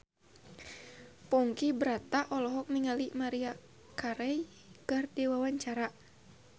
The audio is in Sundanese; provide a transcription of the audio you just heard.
Ponky Brata olohok ningali Maria Carey keur diwawancara